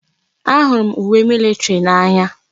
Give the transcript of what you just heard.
Ahụrụ m uwe militiri n'anya.